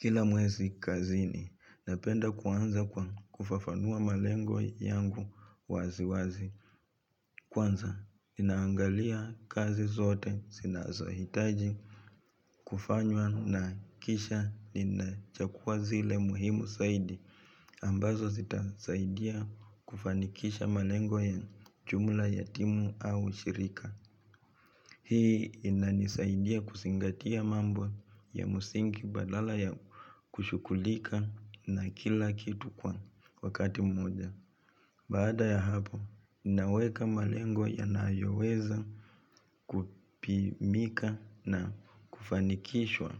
Kila mwezi kazini napenda kuanza kufafanua malengo yangu wazi wazi. Kwanza ninaangalia kazi zote sinazohitaji kufanywa na kisha ninachukua zile muhimu saidi. Ambazo zitasaidia kufanikisha malengo ya chumla ya timu au shirika. Hii inanisaidia kuzingatia mambo ya msingi badala ya kushughulika na kila kitu kwa wakati mmoja. Baada ya hapo, ninaweka malengo yanayoweza kupimika na kufanikishwa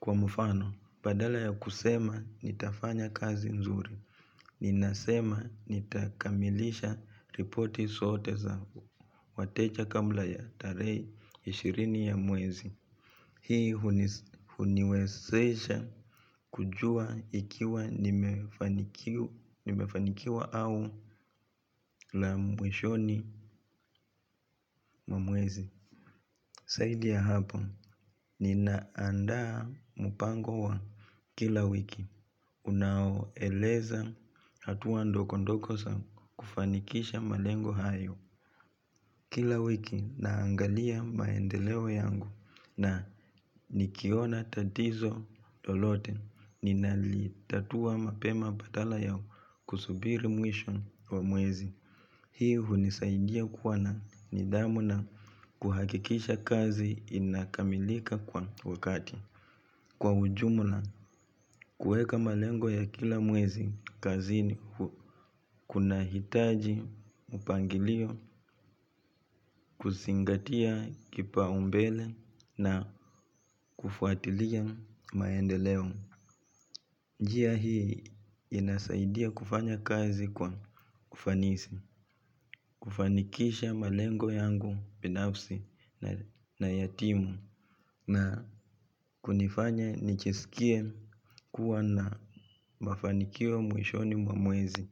kwa mfano badala ya kusema nitafanya kazi nzuri ninasema nitakamilisha ripoti zote za wateja kabla ya tarehe ishirini ya mwezi. Hii huniwezesha kujua ikiwa nimefanikiwa au la mwishoni mwa mwezi. Saidi ya hapa ninaandaa mpango wa kila wiki unaoeleza hatuwla ndoko ndoko sa kufanikisha malengo hayo. Kila wiki naangalia maendeleo yangu na nikiona tatizo lolote ninalitatua mapema badala ya kusubiri mwisho wa mwezi. Hii hunisaidia kuwa na nidhamu na kuhakikisha kazi inakamilika kwa wakati. Kwa ujumla, kuweka malengo ya kila mwezi kazini kunahitaji mpangilio, kuzingatia kipaumbele na kufuatilia maendeleo. Njia hii inasaidia kufanya kazi kwa ufanisi, kufanikisha malengo yangu binafsi na ya timu na kunifanya nichisikie kuwa na mafanikio mwishoni mwa mwezi.